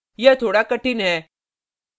यह थोड़ा कठिन है